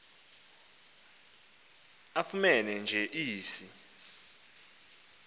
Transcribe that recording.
afumene nje isi